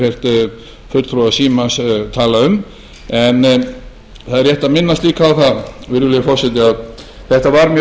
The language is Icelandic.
heyrt fulltrúa símans tala um en það er rétt að minnast líka á það virðulegi forseti að þetta var mjög